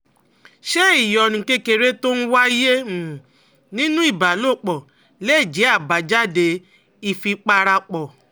Ṣé ìyọnu kékeré tó ń wáyé um nínú ìbálòpọ̀ lè jẹ́ àbájáde ìfipárapọ̀?